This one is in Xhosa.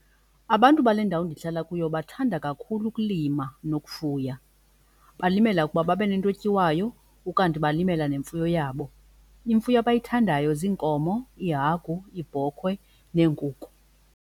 Abantu bale ndawo ndihlala kuyo bathanda kakhulu ukulima nokufuya. Balimela ukuba babe nento etyiwayo ukanti balimela nemfuyo yabo. Imfuyo abayithandayo ziinkomo, iihagu, iibhokwe neenkukhu.